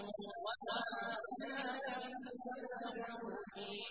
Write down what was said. وَمَا عَلَيْنَا إِلَّا الْبَلَاغُ الْمُبِينُ